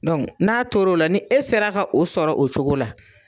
n'a tor'o la, ni e sera ka o sɔrɔ o cogo la.